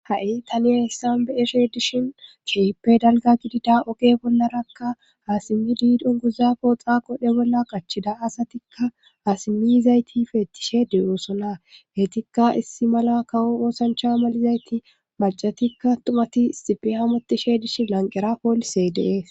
ha7i taniya hissan be7eshe dishin keipe dalga gidida oge bollarakka aasimi diidon guza pooxa qodhe bolla qachchida asatikka aasimizayti feettishede oosona heytikka issi mala kawo oosancha malizayti macatikka tumati isxipe hamotishe dishi lanqera poolise dee